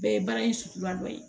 Bɛɛ ye baara in sutura dɔ ye